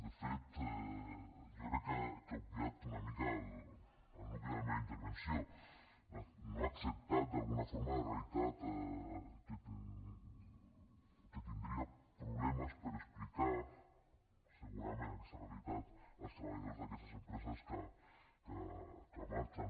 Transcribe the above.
de fet jo crec que ha obviat una mica el nucli de la meva intervenció no ha acceptat d’alguna forma la realitat que tindria problemes per explicar segurament aquesta realitat als treballadors d’aquestes empreses que marxen